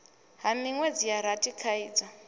ha minwedzi ya rathi khaidzo